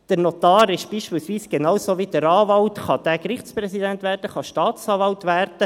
Der Notar kann beispielsweise, genauso wie der Anwalt, Gerichtspräsident werden, er kann Staatsanwalt werden.